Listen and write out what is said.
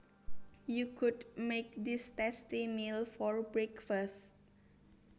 You could make this tasty meal for breakfast